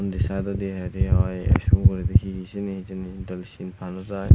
undi sayedodi heyari oi se uguredi hi sini hijeni doley sinpa nojai.